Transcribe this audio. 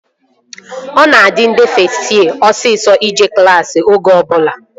Ọ na-adị ndị fest yee osisọ ije klassi oge ọbụla